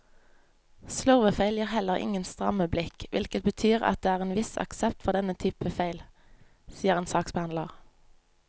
Slurvefeil gir heller ingen stramme blikk, hvilket betyr at det er en viss aksept for denne typen feil, sier en saksbehandler.